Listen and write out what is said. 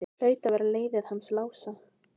Þetta hlaut að vera leiðið hans Lása.